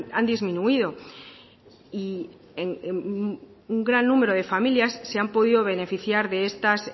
han disminuido y un gran número de familias se han podido beneficiar de estas